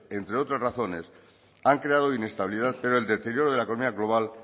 entre otras razones han creado inestabilidad pero el deterioro de la economía global